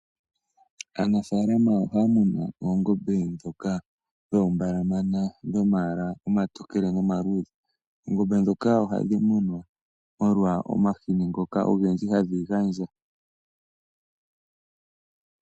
Aanafaalama ohaya munu oongombe ndhoka dhoombaalamana dho mayala omatokele no maluudhe, oongombe dhoka ohadhi munwa molwa, omahini ngoka ogendji hadhi gandja.